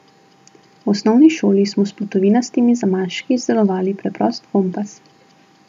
V osnovni šoli smo s plutovinastimi zamaški izdelovali preprost kompas.